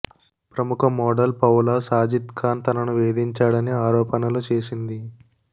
ప్రముఖ model Paula Sajid Khan తనను వేదించాడని ఆరోపణలు చేసింది